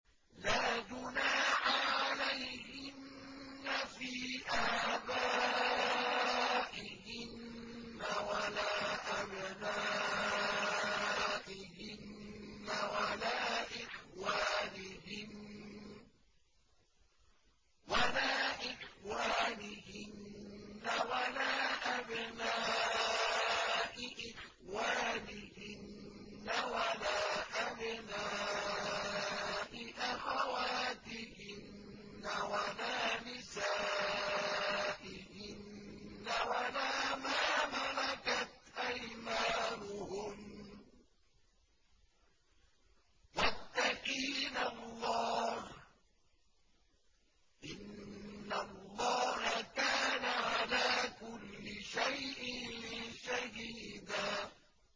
لَّا جُنَاحَ عَلَيْهِنَّ فِي آبَائِهِنَّ وَلَا أَبْنَائِهِنَّ وَلَا إِخْوَانِهِنَّ وَلَا أَبْنَاءِ إِخْوَانِهِنَّ وَلَا أَبْنَاءِ أَخَوَاتِهِنَّ وَلَا نِسَائِهِنَّ وَلَا مَا مَلَكَتْ أَيْمَانُهُنَّ ۗ وَاتَّقِينَ اللَّهَ ۚ إِنَّ اللَّهَ كَانَ عَلَىٰ كُلِّ شَيْءٍ شَهِيدًا